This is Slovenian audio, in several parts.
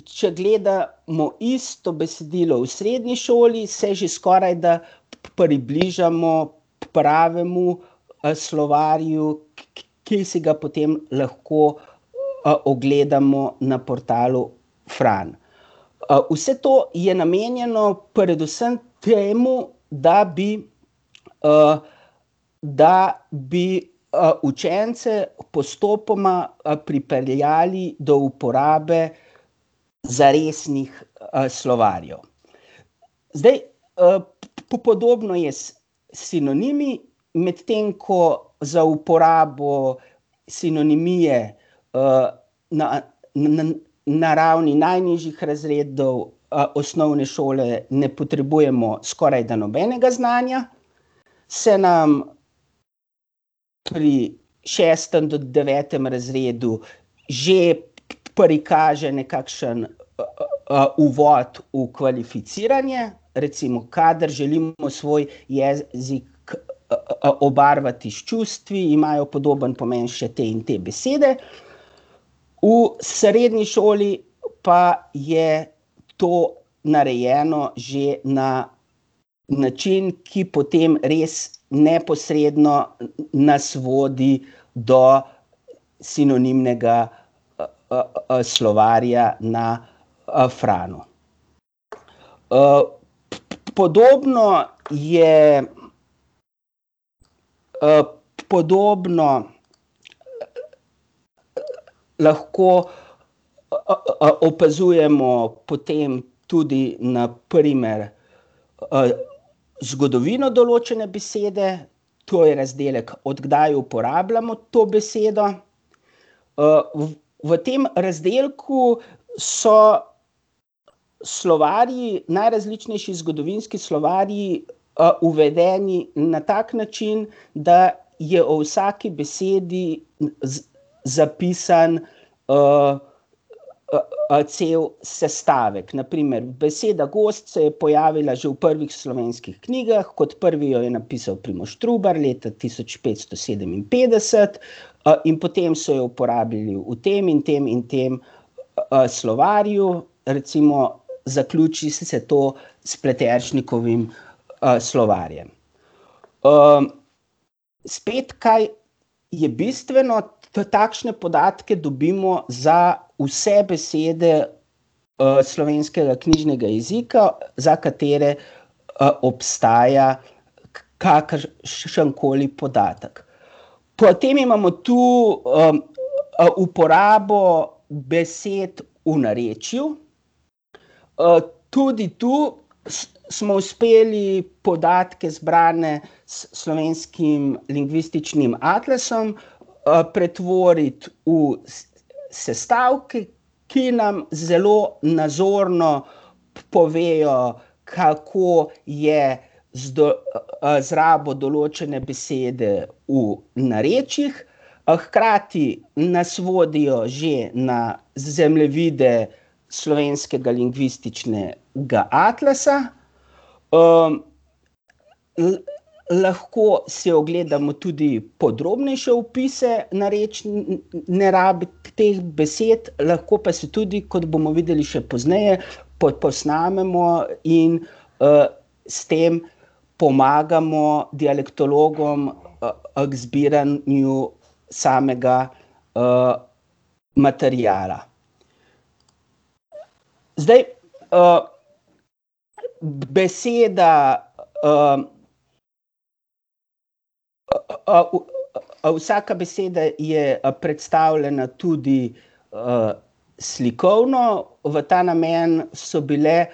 če gledamo isto besedilo v srednji šoli, se že skorajda približamo pravemu, slovarju, ki si ga potem lahko, ogledamo na portalu Fran. vse to je namenjeno predvsem temu, da bi, da bi, učence postopoma, pripeljali do uporabe zaresnih, slovarjev. Zdaj, podobno je s sinonimi, medtem ko za uporabo sinonimije, na ravni najnižjih razredov, osnovne šole ne potrebujemo skorajda nobenega znanja, se nam pri šestem do devetem razredu že prikaže nekakšen, uvod v kvalificiranje. Recimo kadar želimo svoj jezik, obarvati s čustvi, imajo podobno pomeni še te in te besede, v srednji šoli pa je to narejeno že na način, ki potem res neposredno nas vodi do sinonimnega, slovarja na, Franu. podobno je, podobno lahko, opazujemo potem tudi na primer, zgodovino določene besede, to je razdelek, od kdaj uporabljamo to besedo. v tem razdelku so slovarji, najrazličnejši zgodovinski slovarji, uvedeni na tak način, da je o vsaki besedi zapisan, cel sestavek, na primer beseda gozd se je pojavila že v prvih slovenskih knjigah, kot prvi jo je napisal Primož Trubar leta tisoč petsto sedeminpetdeset , in potem so jo uporabljali v tem in tem in tem, slovarju, recimo zaključi se to s Pleteršnikovim, slovarjem. spet, kaj je bistveno, takšne podatke dobimo za vse besede, Slovenskega knjižnega jezika, za katere, obstaja kakršenkoli podatek. Potem imamo tu, uporabo besed v narečju. tudi tu smo uspeli podatke, zbrane s Slovenskim lingvističnim atlasom, pretvoriti v sestavke, ki nam zelo nazorno povejo, kako je z rabo določene besede v narečjih, hkrati nas vodijo že na zemljevide Slovenskega lingvističnega atlasa, lahko si ogledamo tudi podrobnejše opise narečne rabe teh besed, lahko pa si tudi, kot bomo videli še pozneje, posnamemo in, s tem pomagamo dialektologom, k zbiranju samega, materiala. Zdaj, beseda, ... vsaka beseda je predstavljena tudi, slikovno, v ta namen so bile,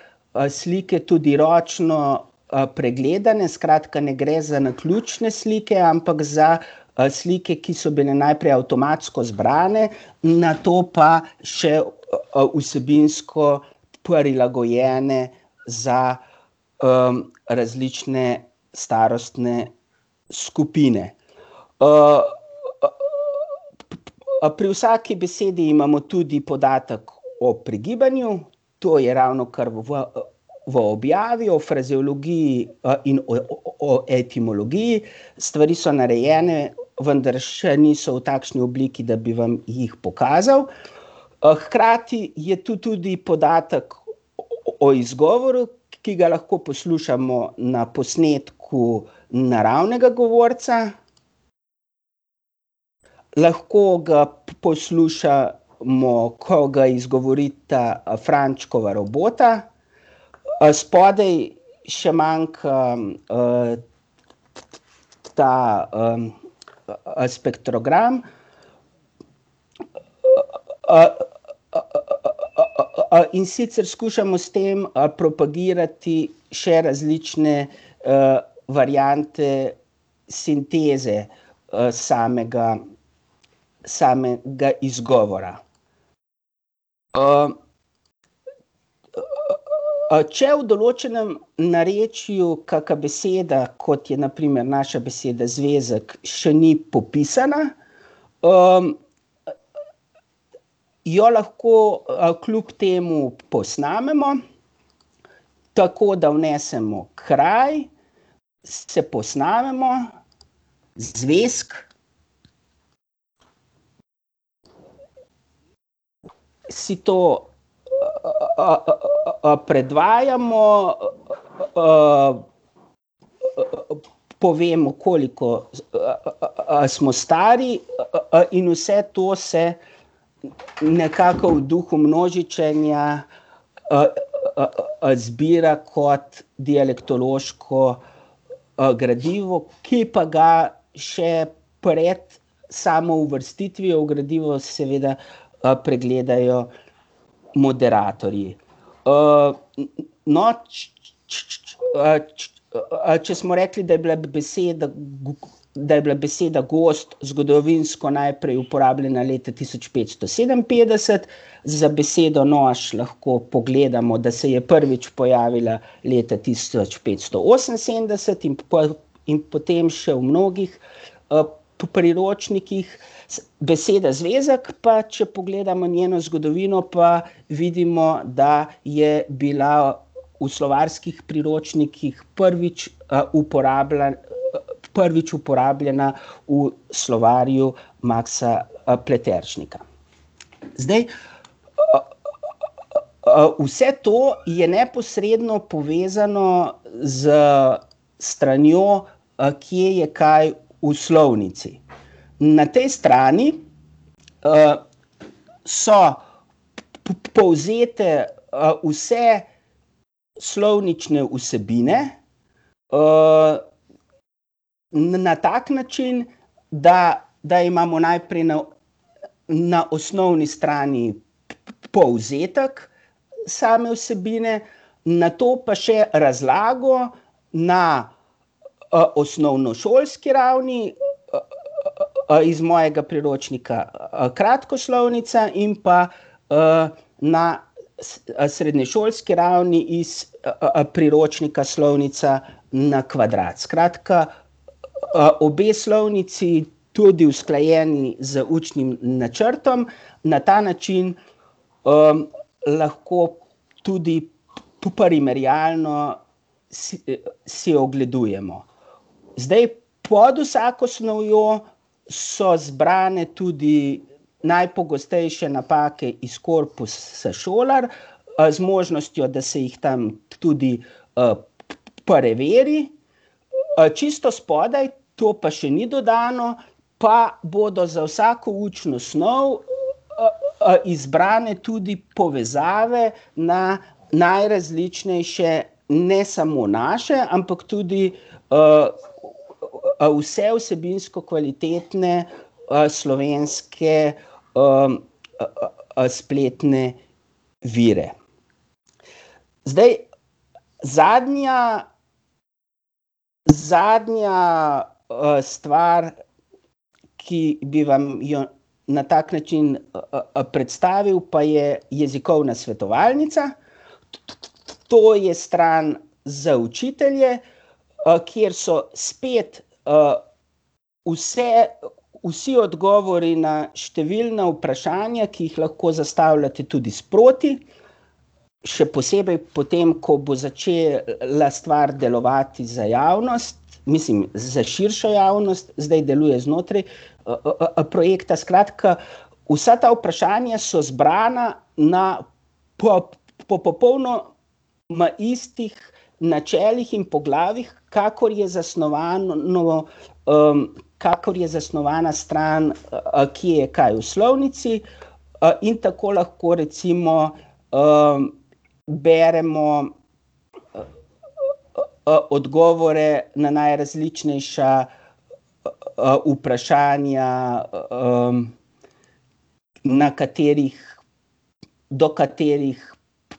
slike tudi ročno, pregledane, skratka, ne gre za naključne slike, ampak za, slike, ki so bile najprej avtomatsko zbrane, nato pa še, vsebinsko prilagojene za, različne starostne skupine. pri vsaki besedi imamo tudi podatek o pregibanju, to je ravnokar v, v objavi, o frazeologiji, in o etimologiji, stvari so narejene, vendar še niso v takšni obliki, da bi vam jih pokazal. hkrati je tu tudi podatek o izgovoru, ki ga lahko poslušamo na posnetku naravnega govorca. Lahko ga poslušamo, ko ga izgovorita Frančkova robota, spodaj še manjka, ta, spektrogram. In sicer skušamo s tem, propagirati še različne, variante sinteze, samega, samega izgovora. če v določenem narečju kaka beseda, kot je na primer naša beseda zvezek, še ni popisana, jo lahko, kljub temu posnamemo tako, da vnesemo kraj, se posnamemo: zvezek. Si to, predvajamo, povemo, koliko smo stari, in vse to se nekako v duhu množičenja, zbira kot dialektološko, gradivo, ki pa ga še pred samo uvrstitvijo v gradivo seveda, pregledajo moderatorji. no, če smo rekli, da je bila beseda da je bila beseda gozd zgodovinsko najprej uporabljena leta tisoč petsto sedeminpetdeset, za besedo nož lahko pogledamo, da se je prvič pojavila leta tisoč petsto oseminsedemdeset in pol, in potem še v mnogih, priročnikih. beseda zvezek pa, če pogledamo njeno zgodovino, pa vidimo, da je bila v slovarskih priročnikih prvič, prvič uporabljena v slovarju Maksa, Pleteršnika. Zdaj, vse to je neposredno povezano s stranjo, kje je kaj v slovnici. Na tej strani, so povzete, vse slovnične vsebine, na tak način, da, da imamo najprej na, na osnovni strani povzetek same vsebine, nato pa še razlago na, osnovnošolski ravni, iz mojega priročnika Kratkoslovnica in pa, na srednješolski ravni iz, priročnika Slovnica na kvadrat. Skratka, obe slovnici, tudi usklajeni z učnim načrtom, na ta način, lahko tudi primerjalno si ogledujemo. Zdaj, pod vsako snovjo so zbrane tudi najpogostejše napake iz korpusa Šolar, z možnostjo, da se jih tam tudi, preveri. Čisto spodaj, to pa še ni dodano, pa bodo za vsako učno snov izbrane tudi povezave na najrazličnejše, ne samo naše, ampak tudi, vse vsebinsko kvalitetne, slovenske, spletne vire. Zdaj, zadnja, zadnja, stvar, ki bi vam jo na tak način, predstavil, pa je Jezikovna svetovalnica. To je stran za učitelje, kjer so spet, vse, vsi odgovori na številna vprašanja, ki jih lahko zastavljate tudi sproti, še posebej potem, ko bo začela stvar delovati za javnost, mislim za širšo javnost, zdaj deluje znotraj, projekta, skratka, vsa ta vprašanja so zbrana na ()ma istih načelih in poglavjih, kakor je zasnovano, kakor je zasnovana stran, kje je kaj v slovnici, in tako lahko recimo, beremo odgovore na najrazličnejša, vprašanja, na katerih, do katerih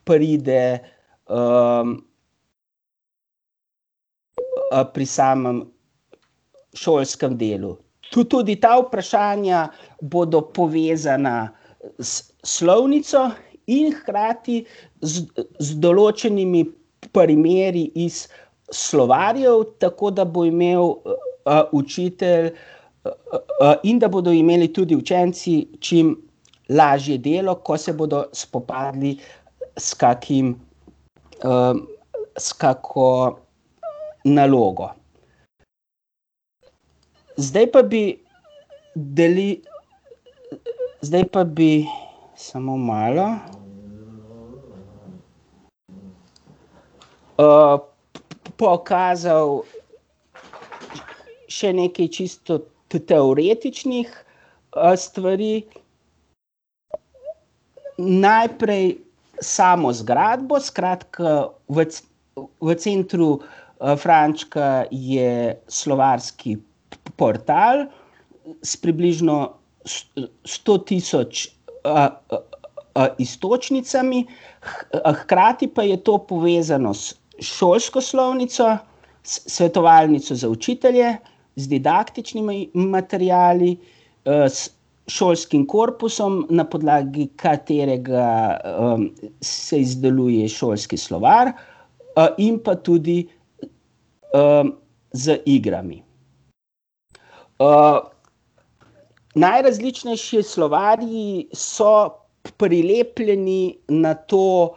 pride, pri samem šolskem delu. tudi ta vprašanja bodo povezana, s slovnico in hkrati z določenimi primeri iz slovarjev, tako da bo imel, učitelj, in da bodo imeli tudi učenci čim lažje delo, ko se bodo spopadli s kakim, s kako, nalogo. Zdaj pa bi zdaj pa bi ... Samo malo. pokazal še nekaj čisto teoretičnih, stvari. Najprej samo zgradbo, skratka v v centru, Frančka je slovarski portal s približno sto tisoč iztočnicami, hkrati pa je to povezano s šolsko slovnico, s svetovalnico za učitelje, z didaktičnimi materiali, s šolskim korpusom, na podlagi katerega, se izdeluje šolski slovar, in pa tudi, z igrami. najrazličnejši slovarji so prilepljeni na to,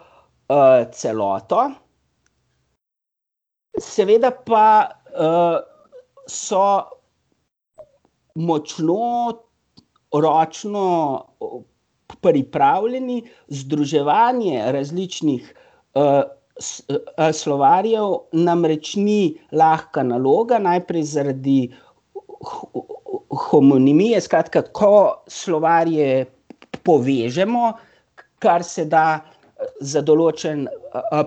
celoto. Seveda pa, so močno ročno pripravljeni, združevanje različnih, slovarjev namreč ni lahka naloga, najprej zaradi homonimije, skratka, ko slovarje povežemo, kar se da, za določen,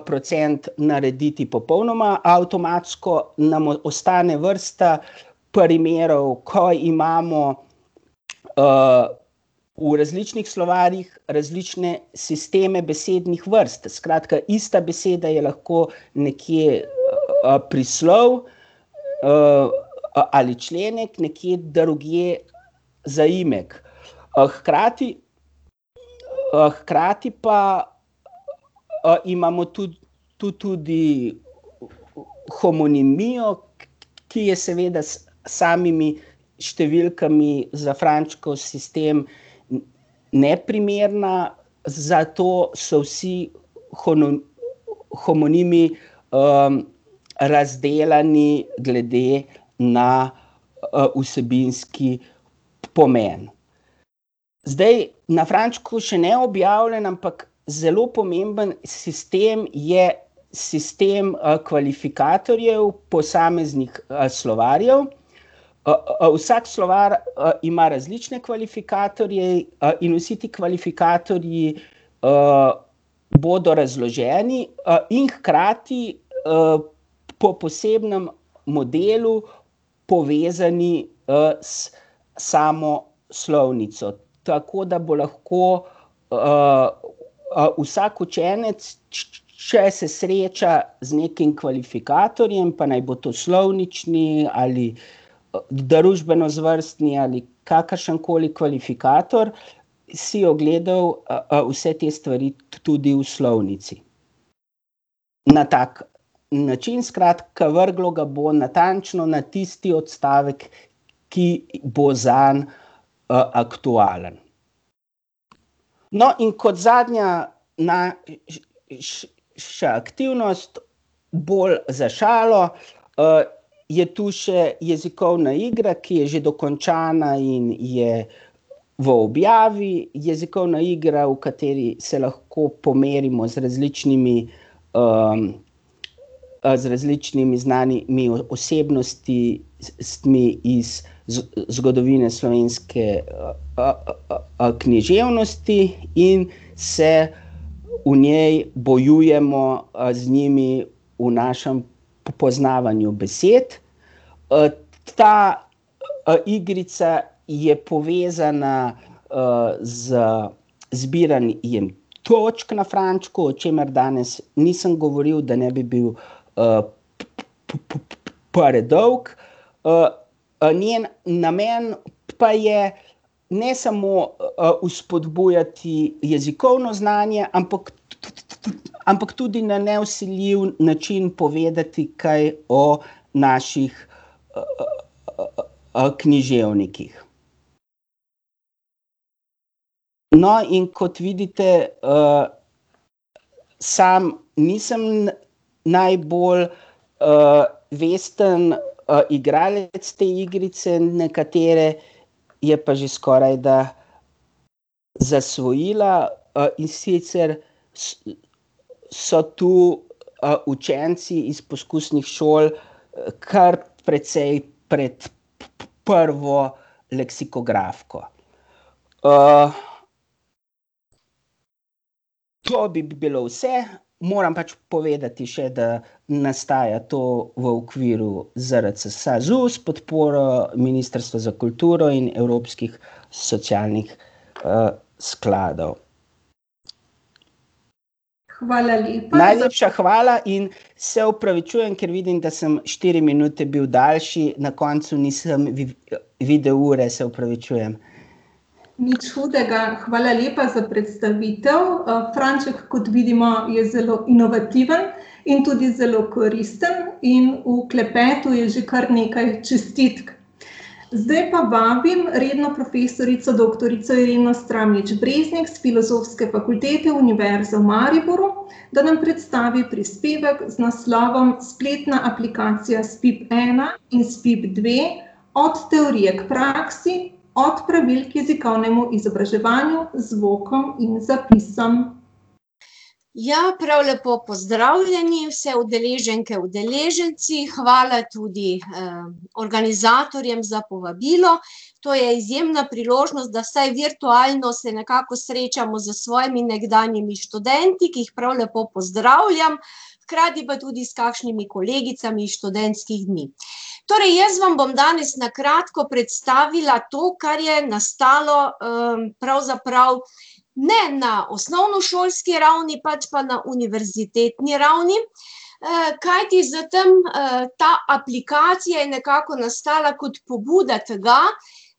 procent narediti popolnoma avtomatsko, nam ostane vrsta primerov, ko imamo, v različnih slovarjih različne sisteme besednih vrst, skratka ista beseda je lahko nekje, prislov, ali členek, nekje drugje zaimek. hkrati, hkrati pa imamo tu, tu tudi homonimijo, ki je seveda s samimi številkami za Frančkov sistem neprimerna, zato so vsi homonimi, razdelani glede na, vsebinski pomen. Zdaj, na Frančku še neobjavljen, ampak zelo pomemben sistem je sistem, kvalifikatorjev posameznih, slovarjev. vsak slovar, ima različne kvalifikatorje, in vsi ti kvalifikatorji, bodo razloženi, in hkrati, po posebnem modelu povezani, s samo slovnico. Tako da bo lahko, vsak učenec, če se sreča z nekim kvalifikatorjem, pa naj bo to slovnični ali, družbenozvrstni ali kakršenkoli kvalifikator, si ogledal, vse te stvari tudi v slovnici na tak način, skratka vrglo ga bo natančno na tisti odstavek, ki bo zanj, aktualen. No, in kot zadnja ()ša aktivnost, bolj za šalo, je tu še jezikovna igra, ki je že dokončana in je v objavi, jezikovna igra, v kateri se lahko pomerimo z različnimi, z različnimi znanimi osebnosti, s iz zgodovine slovenske, književnosti in se v njej bojujemo, z njimi v našem poznavanju besed. ta, igrica je povezana, z zbiranjem točk na Frančku, o čemer danes nisem govoril, da ne bi bil, predolg. njen namen pa je ne samo, vzpodbujati jezikovno znanje, ampak ampak tudi na nevsiljiv način povedati kaj o naših, književnikih. No, in kot vidite, sam nisem najbolj, vesten, igralec te igrice, nekatere je pa že skorajda zasvojila, in sicer so tu, učenci iz poskusnih šol, kar precej pred prvo leksikografko. ... To bi bilo vse, moram pač povedati še, da nastaja to v okviru ZRC SAZU s podporo Ministrstva za kulturo in evropskih socialnih, skladov. Hvala lepa. Najlepša hvala in se opravičujem, ker vidim, da sem štiri minute bil daljši, na koncu nisem videl ure, se opravičujem. Nič hudega, hvala lepa za predstavitev, Franček, kot vidimo, je zelo inovativen in tudi zelo koristen in v klepetu je že kar nekaj čestitk. Zdaj pa vabim redno profesorico doktorico Ireno Stramljič Breznik s Filozofske fakultete Univerze v Mariboru, da nam predstavi prispevek z naslovom Spletna aplikacija Spip ena in Spip dve: Od teorije k praksi, od pravil k jezikovnemu izobraževanju z zvokom in zapisom. Ja, prav lepo pozdravljeni, vse udeleženke, udeleženci, hvala tudi, organizatorjem za povabilo, to je izjemna priložnost, da vsaj virtualno se nekako srečamo s svojimi nekdanjimi študenti, ki jih prav lepo pozdravljam, hkrati pa tudi s kakšnimi kolegicami iz študentskih dni. Torej jaz vam bom danes na kratko predstavila to, kar je nastalo, pravzaprav ne na osnovnošolski ravni, pač pa na univerzitetni ravni, kajti za tam, ta aplikacija je nekako nastala kot pobuda tega,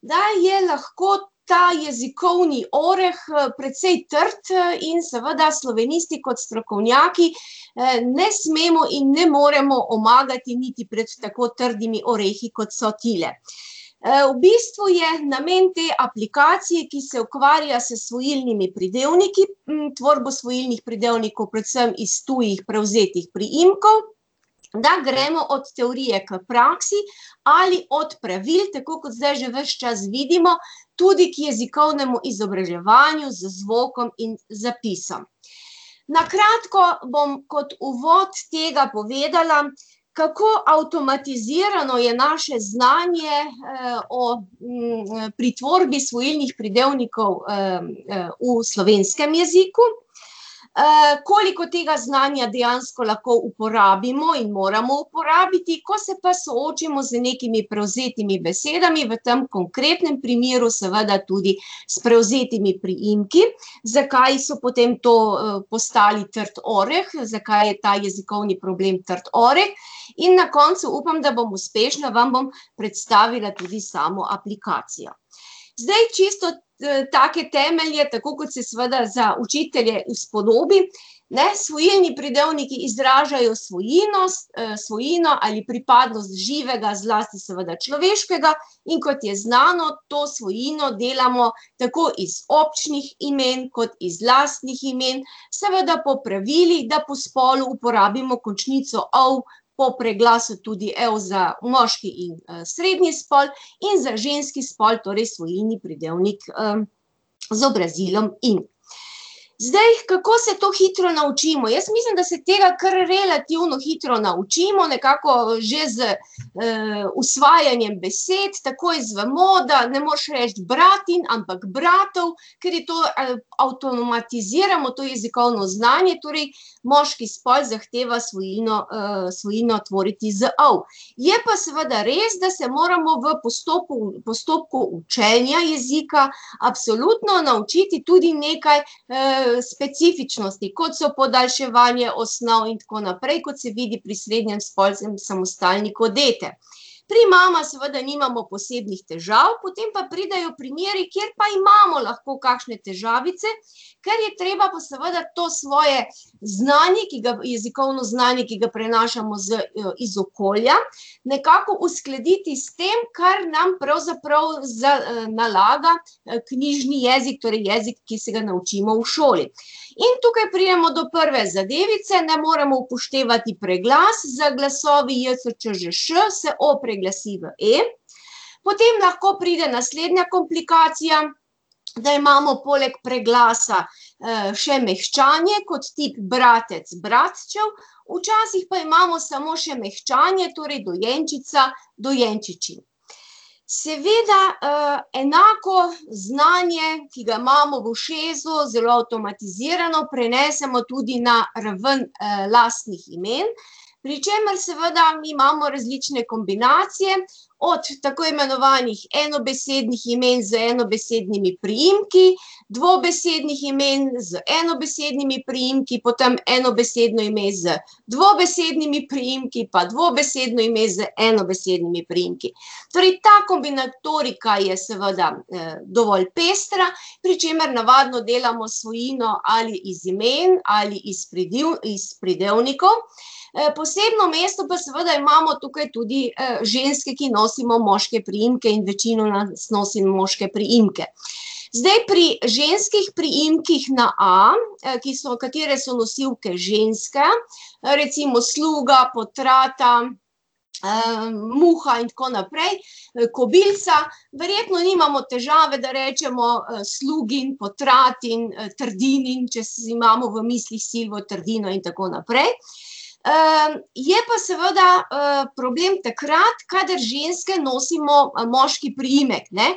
da je lahko ta jezikovni oreh, precej trd, in seveda slovenisti kot strokovnjaki, ne smemo in ne moremo omagati niti pred tako trdimi orehi, kot so tile. v bistvu je namen te aplikacije, ki se ukvarja s svojilnimi pridevniki, tvorbo svojilnih pridevnikov, predvsem iz tujih prevzetih priimkov, da gremo od teorije k praksi ali od pravil, tako kot zdaj že ves čas vidimo, tudi k jezikovnemu izobraževanju z zvokom in zapisom. Na kratko bom kot uvod tega povedala, kako avtomatizirano je naše znanje, o, pri tvorbi svojilnih pridevnikov, v slovenskem jeziku, koliko tega znanja dejansko lahko uporabimo in moramo uporabiti, ko se pa soočimo z nekimi prevzetimi besedami, v tam konkretnem primeru seveda tudi s prevzetimi priimki, zakaj so potem to, postali trd oreh, zakaj je ta jezikovni problem trd oreh, in na koncu, upam, da bom uspešna, vam bom predstavila tudi samo aplikacijo. Zdaj, čisto take temelje, tako kot se seveda za učitelje spodobi, ne, svojilni pridevniki izražajo svojino, svojino ali pripadnost živega, zlasti seveda človeškega, in kot je znano, to svojino delamo tako iz občnih imen kot iz lastnih imen, seveda po pravilih, da po spolu uporabimo končnico -ov, po preglasu tudi -ev za moški in, srednji spol in za ženski spol torej svojilni pridevnik, z obrazilom -in. Zdaj, kako se to hitro naučimo? Jaz mislim, da se tega kar relativno hitro naučimo, nekako že z, usvajanjem besed, tako izvemo, da ne moreš reči bratin, ampak bratov, kar je to, avtomatiziramo to jezikovno znanje, torej moški spol zahteva svojino, svojino tvoriti z -ov. Je pa seveda res, da se moramo v postopku učenja jezika absolutno naučiti tudi nekaj, specifičnosti, kot so podaljševanje osnov in tako naprej, kot se vidi pri srednjespolskem samostalniku dete. Pri mama seveda nimamo posebnih težav, potem pa pridejo primeri, kjer pa imamo lahko kakšne težavice, ker je treba pa seveda to svoje znanje, ki ga, jezikovno znanje, ki ga prinašamo z, iz okolja, nekako uskladiti s tem, kar nam pravzaprav nalaga, knjižni jezik, torej jezik, ki se ga naučimo v šoli. In tukaj pridemo do prve zadevice, ne, moramo upoštevati preglas, za glasovi j, š, č, ž, š se o preglasi v e, potem lahko pride naslednja komplikacija, da imamo poleg preglasa, še mehčanje, kot tip bratec, bratčev, včasih pa imamo samo še mehčanje, torej dojenčica, dojenčičin. Seveda, enako znanje, ki ga imamo v ušesu zelo avtomatizirano, prenesemo tudi na ravno, lastnih imen, pri čemer seveda mi imamo različne kombinacije, od tako imenovanih enobesednih imen z enobesednimi priimki, dvobesednih imen z enobesednimi priimki, potem enobesedno ime z dvobesednimi priimki pa dvobesedno ime z enobesednimi priimki. Torej ta kombinatorika je seveda, dovolj pestra, pri čemer navadno delamo svojino ali iz imen ali iz iz pridevnikov, posebno mesto pa seveda imamo tukaj tudi, ženske, ki nosimo moške priimke, in večina nas nosi moške priimke. Zdaj, pri ženskih priimkih na -a, ki smo, katere so nosilke ženska, recimo Sluga, Potrata, Muha in tako naprej, Kobilca, verjetno nimamo težave, da rečemo, Slugin, Potratin, Trdinin, če imamo v mislih Silvo Trdino in tako naprej. je pa seveda, problem takrat, kadar ženske nosimo moški priimek, ne.